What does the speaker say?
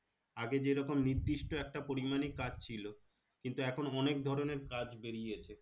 আগে যেরকম নির্দিষ্ট একটা পরিমানিক কাজ ছিল কিন্তু এখন অনেক ধরণের কাজ বেরিয়েছে